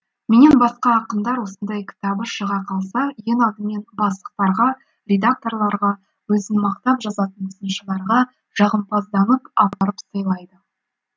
менен басқа ақындар осындай кітабы шыға қалса ең алдымен бастықтарға редакторларға өзін мақтап жазатын сыншыларға жағымпазданып апарып сыйлайды